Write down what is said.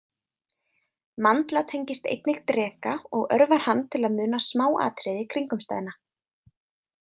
Mandla tengist einnig dreka og örvar hann til að muna smáatriði kringumstæðna.